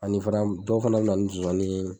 Ani fana dɔw fana be na ni zonzanni ye.